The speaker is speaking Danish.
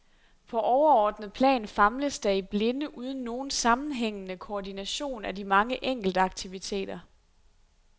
På overordnet plan famles der i blinde uden nogen sammenhængende koordination af de mange enkeltaktiviteter.